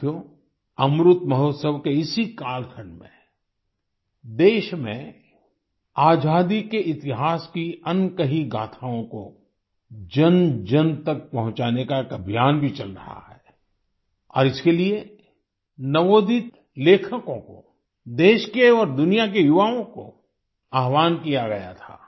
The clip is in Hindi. साथियो अमृत महोत्सव के इसी कालखंड में देश में आज़ादी के इतिहास की अनकही गाथाओं को जनजन तक पहुँचाने का एक अभियान भी चल रहा है और इसके लिए नवोदित लेखकों को देश के और दुनिया के युवाओं को आह्वान किया गया था